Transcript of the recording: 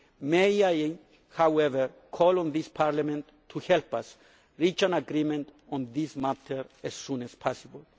May I, however, call on this Parliament to help us reach an agreement on this matter as soon as possible.